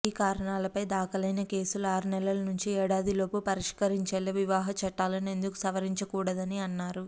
ఈ కారణాలపై దాఖలైన కేసులు ఆరు నెలల నుంచి ఏడాది లోపు పరిష్కరించేలా వివాహ చట్టాలను ఎందుకు సవరించకూడదని అన్నారు